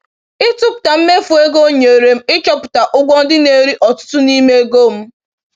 Ịtụpụta mmefu ego nyere m ịchọpụta ụgwọ ndị na-eri ọtụtụ n’ime ego m.